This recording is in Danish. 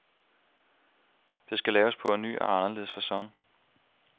Det skal laves på en ny og anderledes facon.